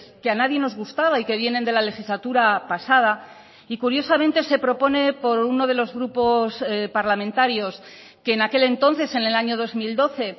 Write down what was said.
que a nadie nos gustaba y que vienen de la legislatura pasada y curiosamente se propone por uno de los grupos parlamentarios que en aquel entonces en el año dos mil doce